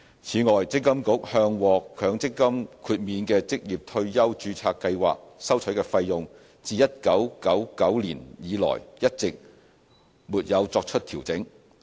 此外，積金局向獲強積金豁免的職業退休註冊計劃收取的費用，自1999年以來一直沒有作出調整。